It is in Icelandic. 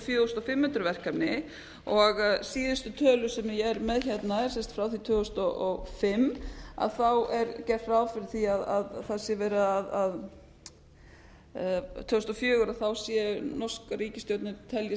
fjögur þúsund fimm hundruð verkefni og síðustu tölur sem ég er með hérna frá því tvö þúsund og fimm er gert ráð fyrir því að það sé verið að tvö þúsund og fjögur sé norska ríkisstjórnin telji